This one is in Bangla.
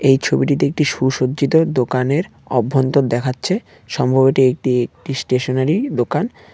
এই ছবিটিতে একটি সুসজ্জিত দোকানের অভ্যন্তর দেখাচ্ছে সম্ভব এটি একটি স্টেশনারি দোকান।